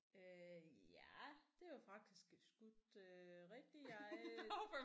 Øh ja det var faktisk skudt øh rigtig jeg